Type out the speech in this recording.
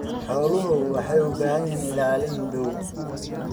Xooluhu waxay u baahan yihiin ilaalin dhow.